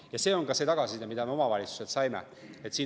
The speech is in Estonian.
Ja see on ka tagasiside, mida me omavalitsustelt saime.